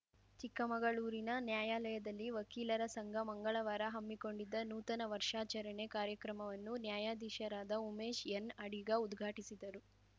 ಚಿಕ್ಕಮಗಳೂರಿನ ನ್ಯಾಯಾಲಯದಲ್ಲಿ ವಕೀಲರ ಸಂಘ ಮಂಗಳವಾರ ಹಮ್ಮಿಕೊಂಡಿದ್ದ ನೂತನ ವರ್ಷಾಚರಣೆ ಕಾರ್ಯಕ್ರಮವನ್ನು ನ್ಯಾಯಾಧೀಶರಾದ ಉಮೇಶ್‌ಎನ್‌ಅಡಿಗ ಉದ್ಘಾಟಿಸಿದರು